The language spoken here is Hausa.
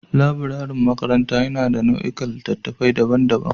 Laburaren makaranta yana da nau'ikan littattafai daban-daban